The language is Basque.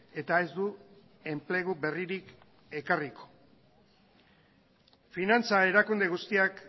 eta ez du enplegu berririk ekarriko finantza erakunde guztiak